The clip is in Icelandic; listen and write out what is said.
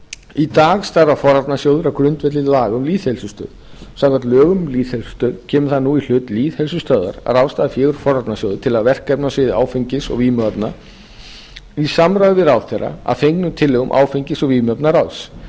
í dag starfar forvarnasjóður á grundvelli laga um lýðheilsustöð samkvæmt lögum um lýðheilsustöð kemur það nú í hlut lýðheilsustöðvar að ráðstafa fé úr forvarnasjóði til verkefna á sviði áfengis og vímuefna í samráði við ráðherra að fengnum tillögum áfengis og vímuvarnaráðs